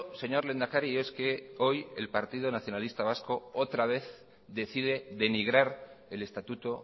señor lehendakari es que hoy el partido nacionalista vasco otra vez decide denigrar el estatuto